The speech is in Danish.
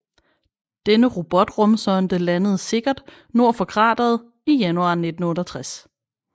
Denne robotrumsonde landede sikkert nord for krateret i januar 1968